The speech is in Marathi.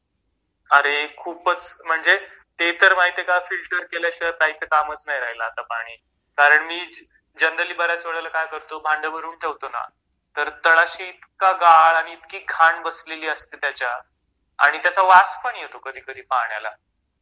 अरे खूपच म्हणजे ते तर माहितीये का फिल्टर केल्याशिवाय प्यायच कामच नाही राहील आता पाणी कारण मी जनरली बऱ्याच वेळा काय करतो भांडे भरून ठेवतो ना तर तळाशी इतका गाळ आणि इतकी घाण बसलेली असते त्याच्या आणि त्याचा वास पण येतो कधी कधी पाण्याला...